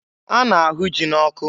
A na-ahụ ji n'ọkụ.